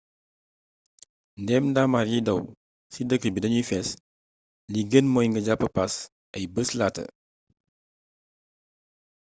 ndéem daamar yiy daw ci dëkk yi dañuy fees li gën mooy nga jàpp paas ay bés laata